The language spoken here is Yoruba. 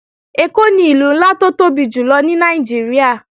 Èkó ni Ìlú ńlá tó tóbi jùlọ ní Nàìjíríà